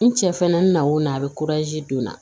N cɛ fɛnɛ nakun na a bɛ don a la